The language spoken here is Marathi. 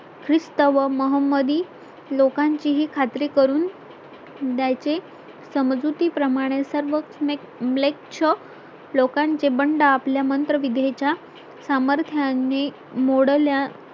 ख्रिस्त व मोहम्मदी लोकांचीही खात्री करून द्यायचे समजुती प्रमाणे सर्व Black chunk लोकांचे बंड आपल्या मंत्र विद्ये च्या सामर्थ्याने मोडल्या